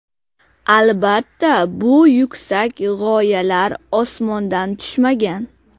Albatta, bu yuksak g‘oyalar osmondan tushmagan.